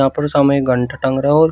ऊपर सामने एक घंटा टंग रहा और--